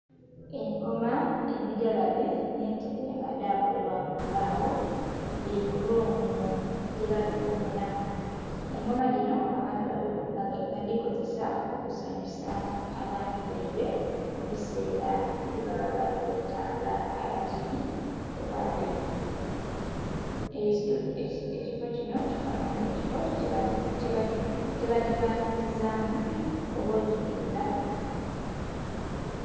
Engoma emigalabe nhe entebe nga dha kolebwa mu mbagho bili mu rumu gye babikumilamu, engoma dhinho abantu badhikozesa oku sanhuka abantu baibwe mu bisela bye baba bali kyetaga abakinhi oba abembi. Ekifo kinho ekifo kye ba dhipangikizamu oba odhi tundha